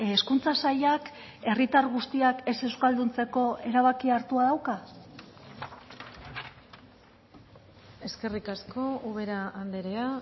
hezkuntza sailak herritar guztiak ez euskalduntzeko erabakia hartua dauka eskerrik asko ubera andrea